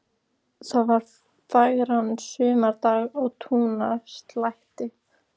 Það var fagran sumardag á túnaslætti.